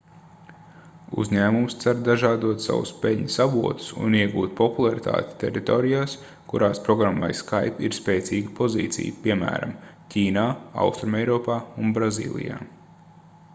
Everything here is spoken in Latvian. uzņēmums cer dažādot savus peļņas avotus un iegūt popularitāti teritorijās kurās programmai skype ir spēcīga pozīcija piemēram ķīnā austrumeiropā un brazīlijā